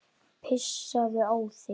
Pissaðu á þig.